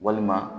Walima